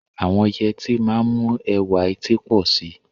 Àwọn yẹtí máa ń mú ẹwà etí pọ̀ sí i.